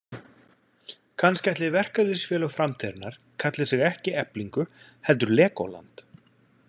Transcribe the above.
Kannski ætli verkalýðsfélög framtíðarinnar kalli sig ekki Eflingu heldur Lególand.